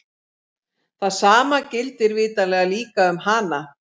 Það sama gildir vitanlega líka um hana!